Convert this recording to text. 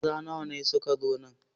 Maza nawa ne suka zo nan?